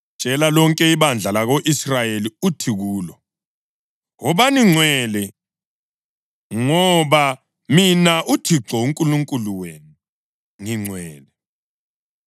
“Tshela lonke ibandla lako-Israyeli uthi kulo: ‘Wobani ngcwele ngoba mina Thixo uNkulunkulu wenu ngingcwele.